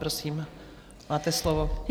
Prosím, máte slovo.